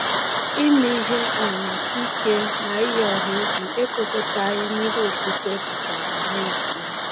“Ime ihe um ike na iyi ọha egwu ekwekọghị n’ihe okpukpe pụtara n’ezie.”